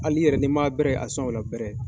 Hali n'i yɛrɛ nin man bɛrɛ a sɔn o la bɛrɛ.